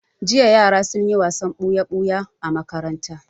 Jiya yara sun yi wasan ɓoya-ɓoya a makaranta.